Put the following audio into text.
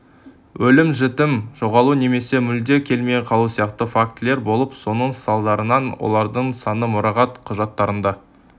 өлім-жітім жоғалу немесе мүлде келмей қалу сияқты фактілер болып соның салдарынан олардың саны мұрағат құжаттарында